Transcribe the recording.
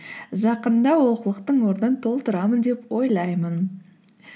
жақында ол қылықтың орнын толтырамын деп ойлаймын